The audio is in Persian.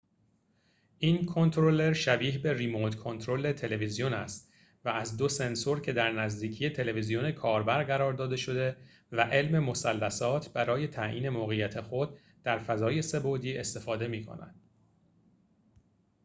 این کنترلر شبیه به ریموت کنترل تلویزیون است و از دو سنسور که در نزدیکی تلویزیون کاربر قرار داده شده و علم مثلثات برای تعیین موقعیت خود در فضای سه بعدی استفاده می‌کند